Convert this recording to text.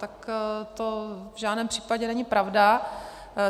Tak to v žádném případě není pravda.